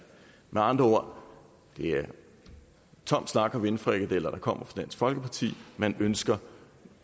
med andre ord er det tom snak luftsteg og vindfrikadeller der kommer fra folkeparti man ønsker